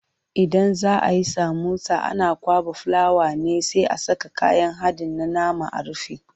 Idan za ayi samosa ana kwaɓa fulawa ne sai a saka kayan haɗin na nama a rufe.